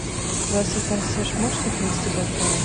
здравствуйте консьерж можете принести бокалы